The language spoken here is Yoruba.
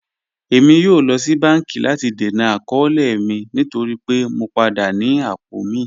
Ẹ̀mi yóò lọ sí bánkì láti dẹ̀nà àkọọ̀lẹ̀ mi nítorí pẹ̀ mọ̀ padà ní apọ̀ mi